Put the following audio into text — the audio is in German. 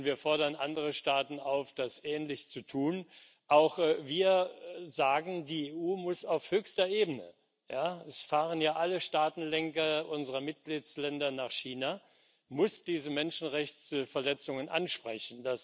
Wir fordern andere Staaten auf, das ähnlich zu tun. Auch wir sagen Die EU muss auf höchster Ebene es fahren ja alle Staatenlenker unserer Mitgliedstaaten nach China diese Menschenrechtsverletzungen ansprechen.